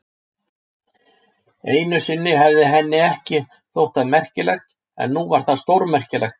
Einu sinni hefði henni ekki þótt það merkilegt, en nú var það stórmerkilegt.